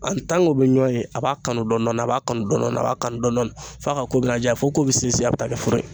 An bɛ ɲɔɔn ye a b'a kanu dɔɔnin dɔɔnin a b'a kanu dɔɔnin a b'a kanu dɔɔnin fo a ka ko bɛna diya fo ko bɛ sinsin a bɛ taa kɛ furu ye